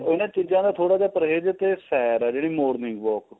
ਉਹਨਾ ਚੀਜ਼ਾਂ ਦਾ ਥੋੜਾ ਜਾ ਪਰਹੇਜ ਤੇ ਸੈਰ ਏ ਜਿਹੜੀ morning walk